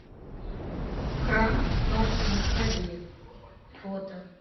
храм спаса на крови фото